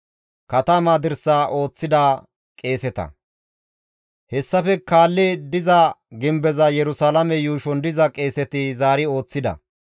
Hessafe kaalli diza gimbeza Yerusalaame yuushon diza qeeseti zaari ooththida.